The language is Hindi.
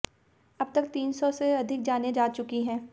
अब तक तीन सौ से अधिक जानें जा चुकी हैं